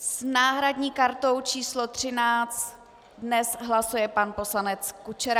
S náhradní kartou číslo 13 dnes hlasuje pan poslanec Kučera.